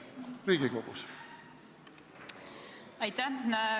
Keit Pentus-Rosimannus, palun!